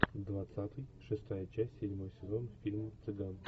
двадцатый шестая часть седьмой сезон фильм цыган